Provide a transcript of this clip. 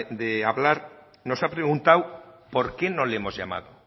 de hablar nos ha preguntado por qué no le hemos llamado